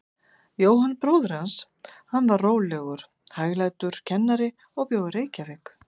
Jóhann bróðir hans, hann var rólegur, hæglátur kennari og bjó í Reykjavík.